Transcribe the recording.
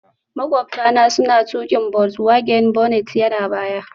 Maƙwabta na suna tuƙi volkswagen, bonnet yana baya